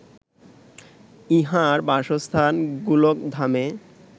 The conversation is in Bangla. ইঁহার বাসস্থান গোলকধামে